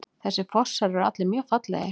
Þessir fossar eru allir mjög fallegir.